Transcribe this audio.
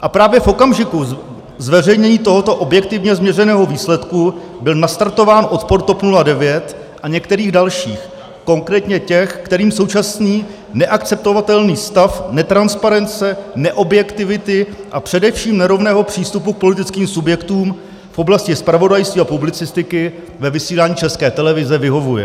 A právě v okamžiku zveřejnění tohoto objektivně změřeného výsledku byl nastartován odpor TOP 09 a některých dalších, konkrétně těch, kterým současný neakceptovatelný stav netransparence, neobjektivity a především nerovného přístupu k politickým subjektům v oblasti zpravodajství a publicistiky ve vysílání České televize vyhovuje.